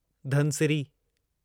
Dhansiri